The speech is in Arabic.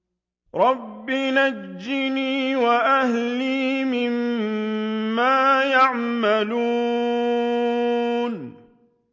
رَبِّ نَجِّنِي وَأَهْلِي مِمَّا يَعْمَلُونَ